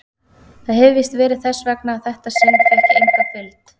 Það hefir víst verið þess vegna að þetta sinn fékk ég enga fylgd.